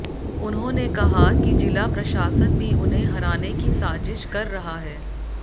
उन्होंने कहा कि जिला प्रशासन भी उन्हें हराने की साजिश कर रहा है